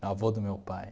avô do meu pai.